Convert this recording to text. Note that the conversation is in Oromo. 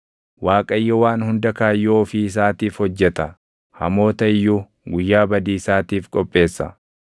Waaqayyo waan hunda kaayyoo ofii isaatiif hojjeta; hamoota iyyuu guyyaa badiisaatiif qopheessa.